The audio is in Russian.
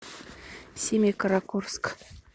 семикаракорск